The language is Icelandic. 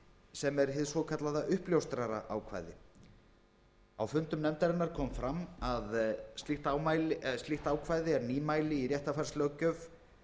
sem er hið svokallaða uppljóstraraákvæði á fundum nefndarinnar kom fram að slíkt ákvæði er nýmæli í réttarfarslöggjöf